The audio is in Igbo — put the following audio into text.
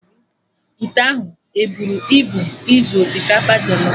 Ite ahụ eburu ibu izu osikapa jọlọf?